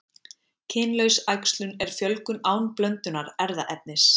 kynlaus æxlun er fjölgun án blöndunar erfðaefnis